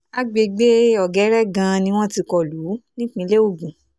àgbègbè ọ̀gẹ́rẹ́ gan-an ni wọ́n ti kọ lù ú nípìnlẹ̀ ogun